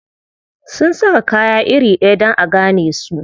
Sun saka kaya iri ɗaya dan a gane su.